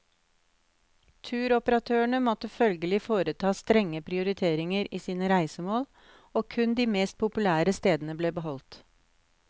Turoperatørene måtte følgelig foreta strenge prioriteringer i sine reisemål og kun de mest populære stedene ble beholdt.